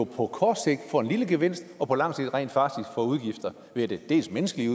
på kort sigt får en lille gevinst og på lang sigt rent faktisk får udgifter det er dels menneskelige